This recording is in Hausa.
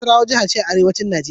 Nasarawa jiha ce a arewacin Nijeriya.